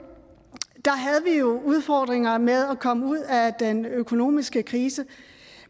jo udfordringer med at komme ud af den økonomiske krise